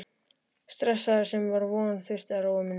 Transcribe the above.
stressaður, sem von var, þurfti að róa mig niður.